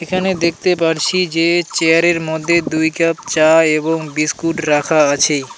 এখানে দেখতে পারছি যে চেয়ারের মধ্যে দুই কাপ চা এবং বিস্কুট রাখা আছে.